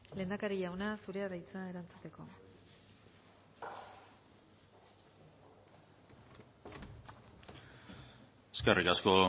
lehendakari jauna zurea da hitza erantzuteko eskerrik asko